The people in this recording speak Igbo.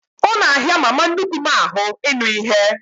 Ọ na ahịa mama nnukwu m ahụ ịnụ ihe